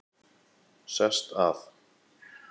Sest að.